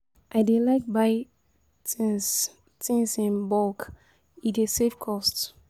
I dey like buy tins tins in bulk, e dey save cost.